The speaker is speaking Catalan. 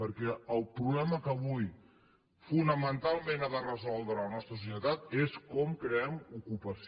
perquè el problema que avui fonamentalment ha de resoldre la nostra societat és com creem ocupació